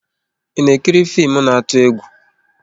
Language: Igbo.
I na ekiri fim na atụ-egwú?